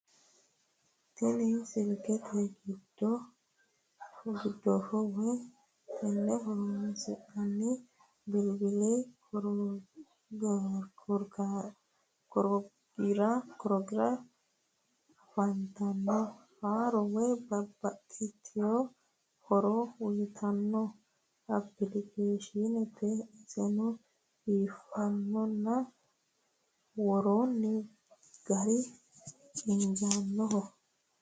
Tini silkete gidfo woy tenne horoonsi'nanni bilbili korogira afantanno horo woy babbaxxeewo horo uytanno applikashiineeti iseno biiffannonna worroonni gari injaanoho.